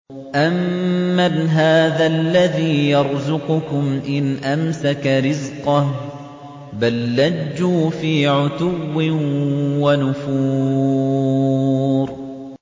أَمَّنْ هَٰذَا الَّذِي يَرْزُقُكُمْ إِنْ أَمْسَكَ رِزْقَهُ ۚ بَل لَّجُّوا فِي عُتُوٍّ وَنُفُورٍ